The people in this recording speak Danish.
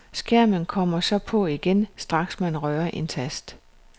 Skærmen kommer så på igen, straks man rører en tast.